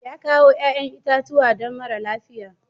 Ya kawo 'ƴa'ƴan itatuwa don mara lafiya.